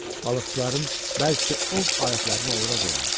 Balıqçıların bəzisi ov alətlərini ora qoyardı.